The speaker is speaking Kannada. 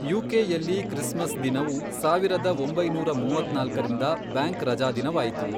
ಯು ಕೆ ಯಲ್ಲಿ, ಕ್ರಿಸ್ಮಸ್ ದಿನವು, ಸಾವಿರದ ಒಂಬೈನೂರ ಮೂವತ್ನಾಲ್ಕರಿಂದ ಬ್ಯಾಂಕ್ ರಜಾದಿನವಾಯಿತು.